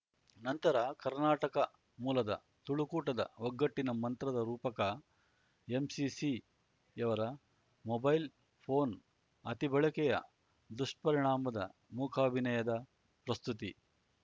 ನಂತರ ಕರ್ನಾಟಕ ಮೂಲದ ತುಳುಕೂಟದ ಒಗ್ಗಟ್ಟಿನ ಮಂತ್ರದ ರೂಪಕ ಎಂಸಿಸಿಯವರ ಮೊಬೈಲ್ ಫೋನ್ ಅತಿಬಳಕೆಯ ದುಷ್ಪರಿಣಾಮದ ಮೂಕಾಭಿನಯದ ಪ್ರಸ್ತುತಿ